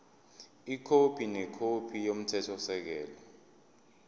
ikhophi nekhophi yomthethosisekelo